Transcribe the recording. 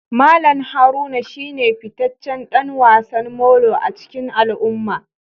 Mallam Haruna shine fitaccen dan wasan Molo a cikin al'umma